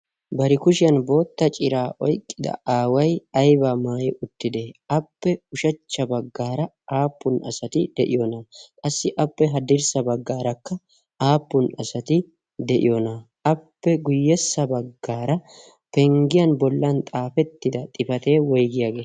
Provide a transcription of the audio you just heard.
bari kushiyan bootta ciraa oyqqida aawai ayba maayi uttida appe ushachcha baggaara aappun asati de'iyoonaa qassi appe haddirssa baggaarakka aappun asati de'iyoonaa appe guyyessa baggaara penggiyan bollan xaafettida xifatee woygiyaagee